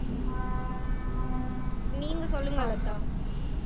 நீங்க சொல்லுங்க லதா